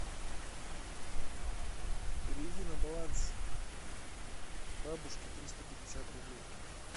переведи на баланс бабушки триста пятьдесят рублей